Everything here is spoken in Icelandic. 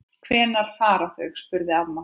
Hvenær fara þau? spurði amma.